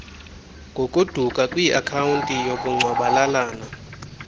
ngokuduka kwiakhawunti yobugcwabalalana